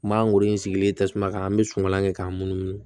N man goro in sigilen tasuma kan an bɛ suman kɛ k'a munumunu